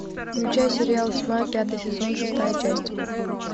включай сериал тьма пятый сезон шестая часть